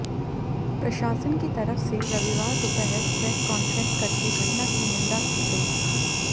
प्रशासन की तरफ से रविवार दोपहर प्रेस कान्फ्रेंस करके घटना की निंदा की गई